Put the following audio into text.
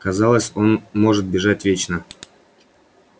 казалось он может бежать вечно